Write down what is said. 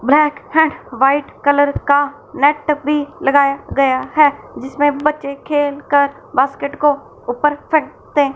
बड़ा सा white colour का नेट भी लगाया गया है जिसमें बच्चे खेल कर बास्केट को ऊपर फेंकते--